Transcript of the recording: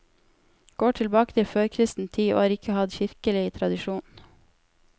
Går tilbake til førkristen tid og har ikke hatt kirkelig tradisjon.